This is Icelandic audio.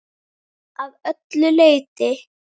Að öllu leyti.